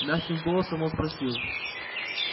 мягким голосом он спросил